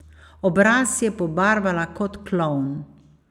Obraz si je pobarvala kot klovn.